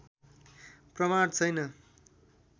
प्रमाण छैन